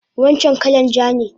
Wancan kalan ja ne?